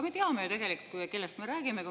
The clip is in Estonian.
Me teame ju tegelikult, kellest me räägime.